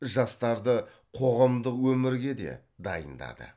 жастарды қоғамдық өмірге де дайындады